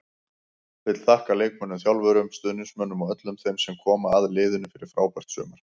Vill þakka leikmönnum, þjálfurum, stuðningsmönnum og öllum þeim sem koma að liðinu fyrir frábært sumar.